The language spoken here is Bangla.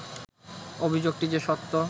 অভিযোগটি যে সত্য